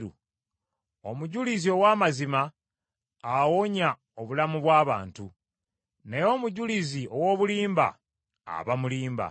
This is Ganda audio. Omujulizi ow’amazima awonya obulamu bw’abantu, naye omujulizi ow’obulimba aba mulimba.